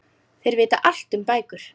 Þeir vita allt um bækur.